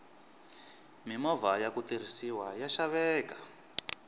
mimovha yaku tirhisiwa ya xaveka